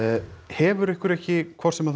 hefur ykkur ekki hvort sem